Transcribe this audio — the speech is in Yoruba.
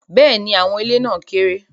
Bẹ́ẹ̀ni, awọn ile na keere